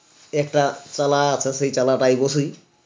একটা চালা আছে চালাঠায়ে বসসি